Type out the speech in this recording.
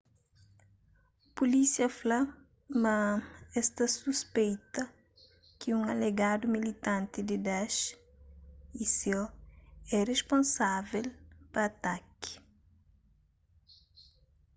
pulísia fla ma es ta suspeita ki un alegadu militanti di daesh isil é risponsável pa ataki